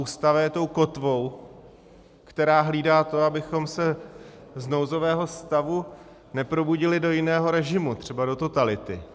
Ústava je tou kotvou, která hlídá to, abychom se z nouzového stavu neprobudili do jiného režimu, třeba do totality.